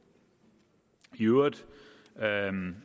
i øvrigt